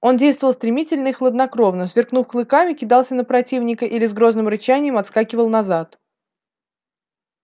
он действовал стремительно и хладнокровно сверкнув клыками кидался на противника или с грозным рычанием отскакивал назад